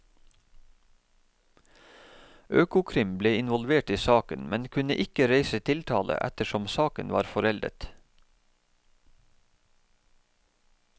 Økokrim ble involvert i saken, men kunne ikke reise tiltale ettersom saken var foreldet.